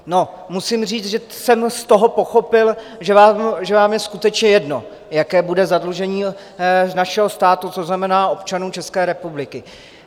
Musím říct, že jsem z toho pochopil, že vám je skutečně jedno, jaké bude zadlužení našeho státu, což znamená občanů České republiky.